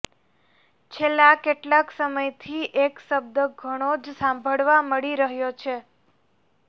છેલ્લા કેટલાક સમયથી એક શબ્દ ઘણો જ સાંભળવા મળી રહ્યો છે